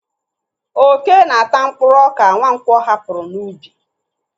Ókè na-ata mkpụrụ ọka Nwankwo hapụrụ n'ubi.